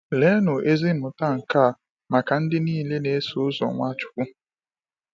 Leenụ ezi mmụta nke a maka ndị niile na-eso ụzọ Nwachukwu!